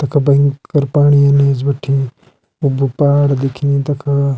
तख भेंकर पाणी इनी एच बटी उब्बू पहाड़ दिखेणी तख।